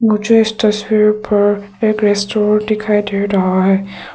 मुझे इस तस्वीर पर एक स्टोर दिखाई दे रहा है।